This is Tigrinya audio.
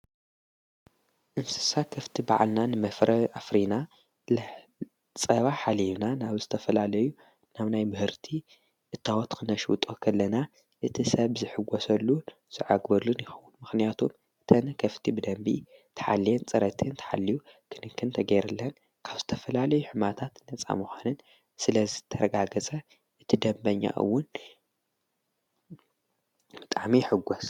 እንስሳ ከፍቲ በዓልና ንመፍረ ኣፍሪና ጸባ ሓሌዩና ናብ ዝተፈላለዩ ናም ናይ ብህርቲ እታወትኽ ነሽ ጦኸለና እቲ ሰብ ዝሕጐሰሉ ዝዓግበሉን ይኽዉን ምኽንያቱ እተን ከፍቲ ብደንቢ ተኃልየን ጽረትን ተሓልዩ ክንክንተ ጌይርልን ካብ ዝተፈላለዩ ሕማታት ነፃ መዃንን ስለ ዝተረጋገጸ እትደበኛውን ምጣዕሚ ይሕጐስ።